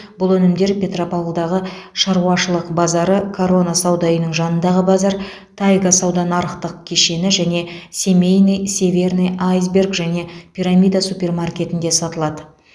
бұл өнімдер петропавлдағы шаруашылық базары корона сауда үйінің жанындағы базар тайга сауда нарықтық кешені және семейный северный айсберг және пирамида супермаркетінде сатылады